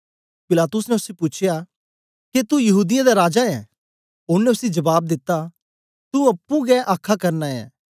पिलातुस ने उसी पूछेया के तू यहूदीयें दा राजा ऐं ओनें उसी जबाब दिता तू अप्पुं गै हे आखा करना ऐ